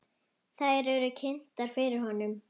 Þær eru kynntar fyrir honum.